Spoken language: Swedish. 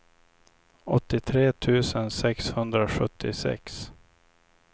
åttiotre tusen sexhundrasjuttiosex